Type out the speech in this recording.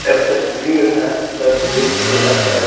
एक तस्वीर हैं तस्वीर के अंदर--